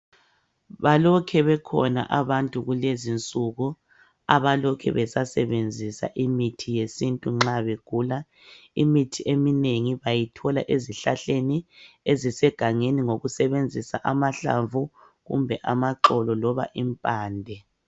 Balokhe bekhona abantu kulezinsuku abalokhe besasebenzisa imithi yesintu nxa begula imithi eminengi bayithola ezihlahleni ezisegangeni ngokusebenzisa amahlamvu kumbe amaxolo loba impande.